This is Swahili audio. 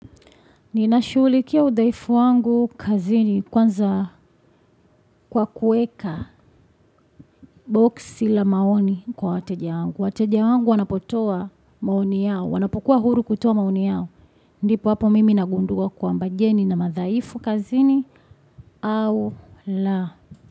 Ninashughulikia udhaifu wangu kazini kwanza kwa kueka boxi la maoni kwa wateja wangu. Wateja wangu wanapotoa maoni yao, wanapokuwa huru kutoa maoni yao. Ndipo hapo mimi nagundua kwamba je nina madhaifu kazini au la.